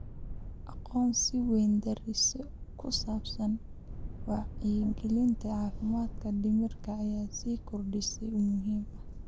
Aqoon-is-weydaarsiyo ku saabsan wacyigelinta caafimaadka dhimirka ayaa sii kordheysa oo muhiim ah.